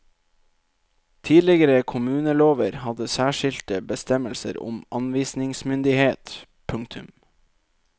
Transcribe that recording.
Tidligere kommunelover hadde særskilte bestemmelser om anvisningsmyndighet. punktum